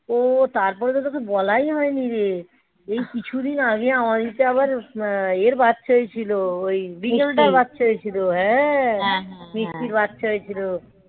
ও তারপরে তো তোকে বলাই হয়নি রে এই কিছুদিন আগে আমাদেরকে আবার আহ ইয়ের বাচ্চাই ছিল ওই বিড়ালটায় বাচ্চা হয়েছিল. হ্যাঁ মিষ্টির বাচ্চা হয়েছিল.